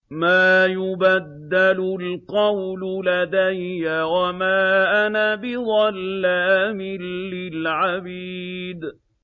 مَا يُبَدَّلُ الْقَوْلُ لَدَيَّ وَمَا أَنَا بِظَلَّامٍ لِّلْعَبِيدِ